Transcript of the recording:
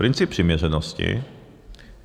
Princip přiměřenosti.